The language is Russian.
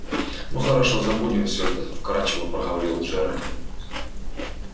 ну хорошо забудем все это вкрадчиво проговорил джералд